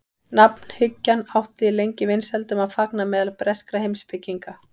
nafnhyggjan átti lengi vinsældum að fagna meðal breskra heimspekinga